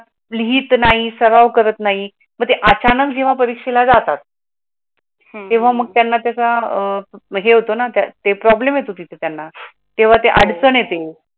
लिहीत नाही सराव करत नाही म्हणजे अचानक जेव्हा परीक्षेला जातात तेव्हा मग त्यांना त्याचा अह हे होतो ना त्याचे प्रॉब्लेम येत होती त्यांना तेव्हा ते अडचण येते